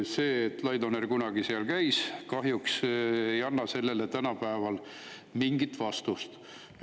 See, et Laidoner kunagi seal käis, kahjuks ei anna sellele küsimusele tänapäeval mingit vastust.